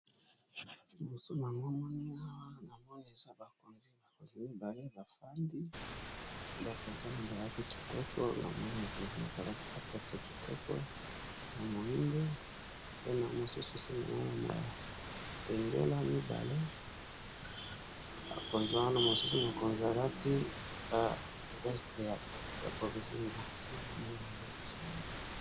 Liboso nanga awa namoni eza bakonzi, makonzi mibale bafandi bakonzi na balati kitoko na moi mokonzi moko alati sapatu ya kitoko ya moindo, mpe na mosusu simana ya maabendela mibale makonzi wana mosusu mokonzi alati ba veste ya bozinga na moni yango liboso na ngawa.